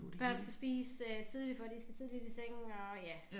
Børn skal spise øh tidligt for de skal tidligt i seng og ja